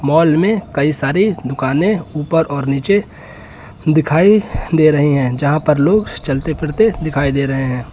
Mall में कई सारी दुकानें ऊपर और नीचे दिखाई दे रहे हैं जहां पर लोग चलते फिरते दिखाई दे रहे हैं।